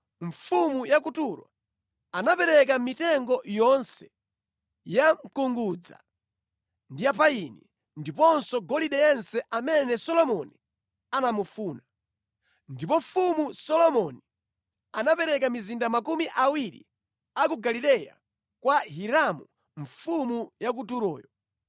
Mfumu Solomoni anapereka mizinda makumi awiri ya ku Galileya kwa Hiramu mfumu ya ku Turo chifukwa Hiramu nʼkuti atapereka mitengo yonse ya mkungudza ndi ya payini ndiponso golide yense zimene Solomoni ankazifuna.